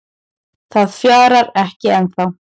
Það fjarar ekki ennþá